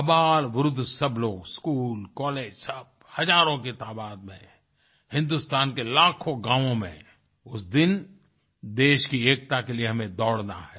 अपार वृद्ध सब लोग स्कूल कॉलेज सब हजारों की तादाद में हिंदुस्तान के लाखों गाँव में उस दिन देश की एकता के लिए हमें दौड़ना है